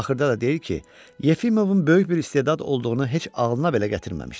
Axırda da deyir ki, Yefimovun böyük bir istedad olduğunu heç ağılına belə gətirməmişdi.